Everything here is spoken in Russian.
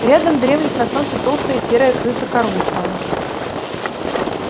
рядом дремлет на солнце толстая серая крыса короста